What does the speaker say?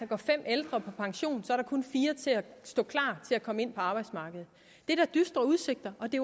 går fem ældre på pension er der kun fire til at stå klar til at komme ind på arbejdsmarkedet det er da dystre udsigter og det